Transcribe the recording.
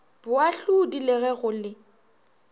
boahlodi le ge go le